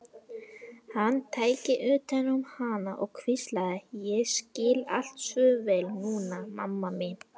Hann tæki utan um hana og hvíslaði: Ég skil allt svo vel núna, mamma mín.